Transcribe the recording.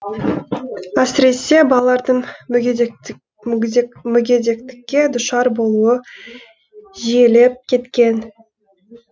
әсіресе балалардың мүгедектікке душар болуы жиілеп кеткен